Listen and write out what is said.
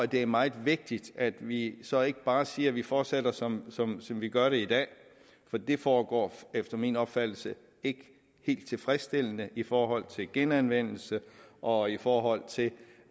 det er meget vigtigt at vi så ikke bare siger at vi fortsætter som som vi gør det i dag for det foregår efter min opfattelse ikke helt tilfredsstillende i forhold til genanvendelse og i forhold til